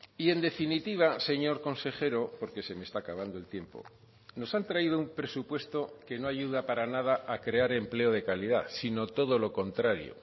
y en definitiva señor consejero porque se me está acabando el tiempo nos han traído un presupuesto que no ayuda para nada a crear empleo de calidad sino todo lo contrario